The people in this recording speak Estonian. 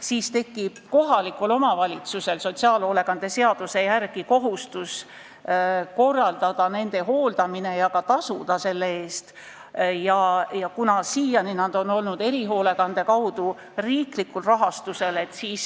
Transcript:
Siis tekib kohalikul omavalitsusel sotsiaalhoolekande seaduse järgi kohustus korraldada nende hooldamist ja selle eest ka tasuda, kuid siiani on need inimesed saanud erihoolekandeteenust ja olnud riiklikul rahastusel.